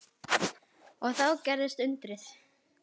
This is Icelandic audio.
Og þá gerðist undrið.